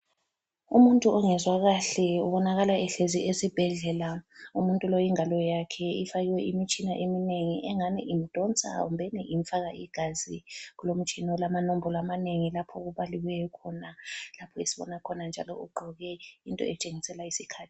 Umuntu ongezwa kahle ubonakala ehlezi esibhedlela umuntu lo ingalo yakhe ifakwe imitshina eminengi engani imdonsa kumbeni imfaka igazi. Kulomtshina olamanombolo amanengi lapha okubaliweyo khona lapha esibona khona njalo ugqoke into etshengisela isikhathi.